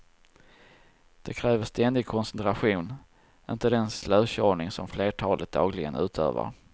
Det kräver ständig koncentration, inte den slökörning som flertalet dagligen utövar.